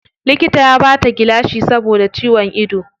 Likita ya bata gilashi saboda ciwon ido.